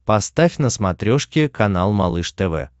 поставь на смотрешке канал малыш тв